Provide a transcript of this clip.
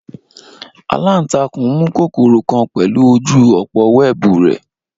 Alantakun mu kokoro kan pẹlu oju opo wẹẹbu rẹ